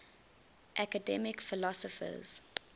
academic philosophers